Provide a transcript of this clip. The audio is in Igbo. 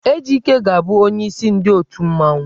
Ejike ga-abụ onyeisi ndị otù mmanwụ.